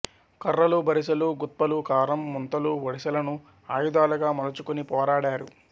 కర్రలు బరిసెలు గుత్పలు కారం ముంతలు వడిసెలను ఆయుధాలుగా మలుచుకొని పోరాడారు